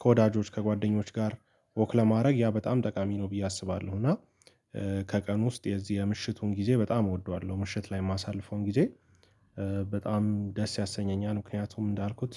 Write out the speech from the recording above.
ከወዳጆች ከጓደኞች ጋር ወክ ለማድረግ ያ በጣም ጠቃሚ ነው ብዬ አስባለሁ። እና ከቀን ውስጥ የዚህ የምሽቱን ጊዜ በጣም እወደዋለሁ ምሽት ላይ የማሳልፈውን ጊዜ በጣም ደስ ያሰኘኛል። ምክንያቱም እንዳልኩት